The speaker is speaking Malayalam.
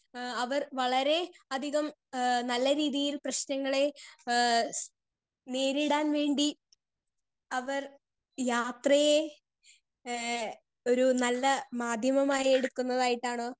സ്പീക്കർ 2 ഏഹ് അവർ വളരെ അധികം ഏഹ് നല്ല രീതിയിൽ പ്രേശ്നങ്ങളെ ഏഹ് നേരിടാൻ വേണ്ടി അവർ യാത്രയെ ഏഹ് ഒരു നല്ല മാധ്യമമായി എടുക്കുന്നതായിട്ടാണോ